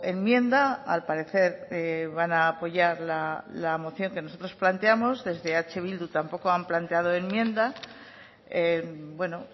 enmienda al parecer van a apoyar la moción que nosotros planteamos desde eh bildu tampoco han planteado enmienda bueno